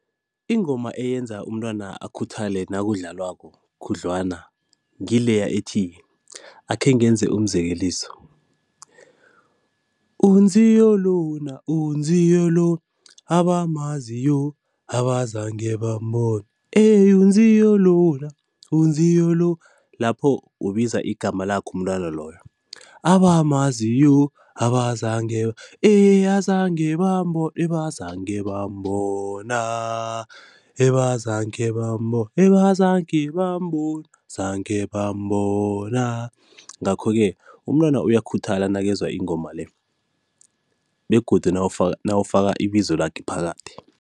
Ingoma eyenza umntwana akhuthale nakudlalwako khudlwana ngileya ethi akhe ngenze umzekeliso, uNziyo lona, uNziyo lo abamaziyo abazange bambona ehh uNziyo lona, uNziyo lo. Lapho ubiza igama lakhe umntwana loyo abamaziyo abazange, ehh azange bambona, ebazange bambona, ebazange bambona, ebazange bambona, zange bambona. Ngakho-ke umntwana uyakhuthala nakezwa ingoma le begodu nawufaka ibizo lakhe phakathi.